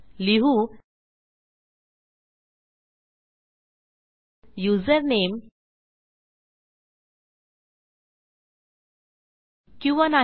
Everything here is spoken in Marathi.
लिहू युझरनेम किंवा